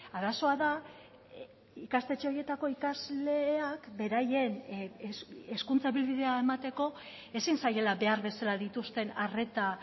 arazoa da ikastetxe horietako ikasleak beraien hezkuntza ibilbidea emateko ezin zaiela behar bezala dituzten arreta